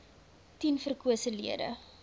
tien verkose lede